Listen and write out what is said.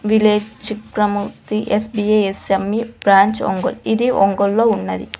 Village promotion S P A S M E branch Ongole ఇది ఒంగోలులో ఉన్నది.